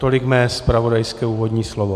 Tolik mé zpravodajské úvodní slovo.